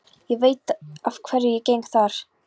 Ég veit að hverju ég geng þar.